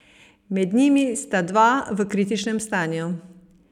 Med njimi sta dva v kritičnem stanju.